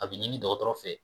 A bɛ ɲini dɔgɔtɔrɔ fɛ